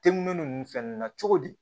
Temu nunnu fɛn nunnu na cogo di